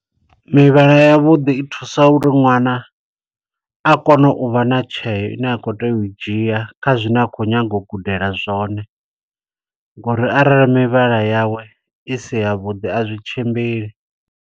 Mivhala ya vhuḓi i thusa uri ṅwana, a kone uvha na tsheo ine a kho tea u dzhia, kha zwine a khou nyaga u gudela zwone. Ngo uri arali mivhala yawe i si ya vhuḓi, a zwi tshimbili.